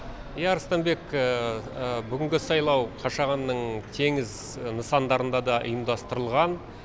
иә арыстанбек бүгінгі сайлау қашағанның теңіз нысардарында да ұйымдастырылған